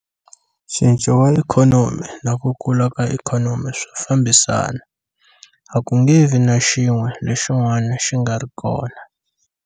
Ncinco wa ikhonomi na ku kula ka ikhonomi swa fambisana. A ku nge vi na xin'we lexin'wana xi nga ri kona.